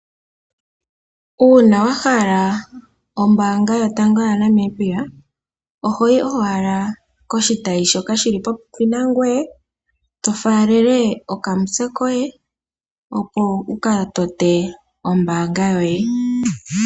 Uuna wahala ombaanga yotango yaNamibia ohoyi owala poshitayi shoka shili popepi nangoye tofaalele okamutse koye opo wuka tote ombaanga yoye.